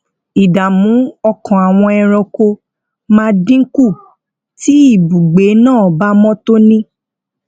ìdààmú ọkàn àwọn ẹranko máa dín kù tí ibùgbé náà bá mó tóní